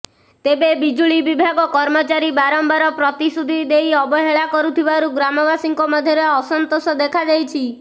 ତେବେ ବିଜୁଳି ବିଭାଗ କର୍ମଚାରୀ ବାରମ୍ବାର ପ୍ରତିଶ୍ରୁତି ଦେଇ ଅବହେଳା କରୁଥିବାରୁ ଗ୍ରାମବାସୀଙ୍କ ମଧ୍ୟରେ ଅସନ୍ତୋଷ ଦେଖାଦେଇଛି